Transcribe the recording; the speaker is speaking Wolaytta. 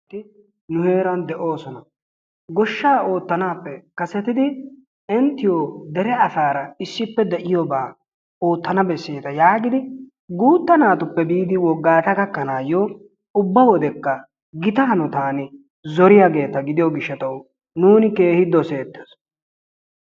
Asati nu heeran de'oosona. Goshshaa ootanaappe kasettidi inttiyo dere asaara issippe de'iyoobaa ootana beseeta yaagidi guutta naatuppe biidi wogata gakkanaayo ubba wodekka gita hanotan zoriyaageeta gidiyo gishatawu nuuni keehin doseetees.